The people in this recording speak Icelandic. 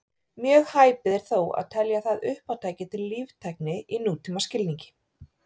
Mjög hæpið er þó að telja það uppátæki til líftækni í nútímaskilningi.